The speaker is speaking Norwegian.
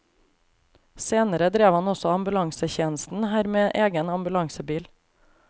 Senere drev han også ambulansetjenesten her med egen ambulansebil.